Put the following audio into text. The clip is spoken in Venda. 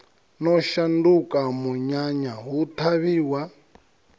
no shanduka munyanya hu ṱhavhiwa